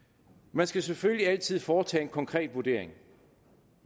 man skal selvfølgelig altid foretage en konkret vurdering